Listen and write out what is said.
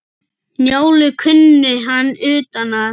Njálu kunni hann utan að.